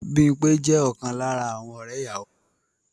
Bímpé jẹ́ ọ̀kan lára àwọn ọ̀rẹ́ ìyàwó